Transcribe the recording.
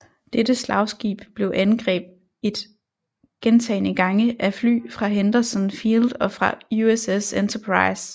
Dette slagskib blev angreb et gentagne gange af fly fra Henderson Field og fra USS Enterprise